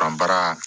Ban baara